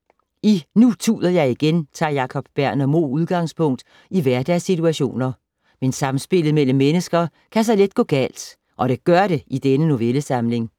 I Nu tuder jeg igen tager Jacob Berner Moe udgangspunkt i hverdagssituationer. Men samspillet mellem mennesker kan så let gå galt og det gør det i denne novellesamling.